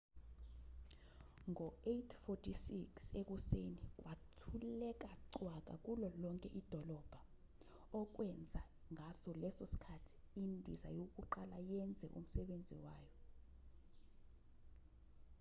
ngo-8:46 ekuseni kwathuleka cwaka kulo lonke idolobha okwenza ngaso leso sikhathi indiza yokuqala yenze umsebenzi wayo